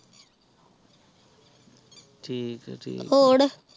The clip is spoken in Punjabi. ਠੀਕ ਆ ਠੀਕ ਆ